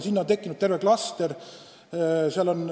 Sinna on tekkinud terve klaster.